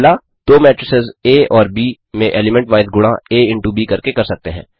दो मेट्रिसेस आ आ और ब ब में एलीमेंट वाइज़ गुणा आ इंटो ब करके कर सकते हैं